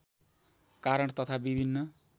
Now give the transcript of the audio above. कारण तथा विभिन्न